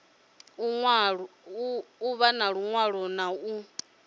u ṱun ḓwa na u